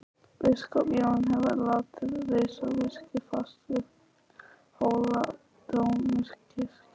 Biskup Jón hefur látið reisa virki fast við Hóladómkirkju.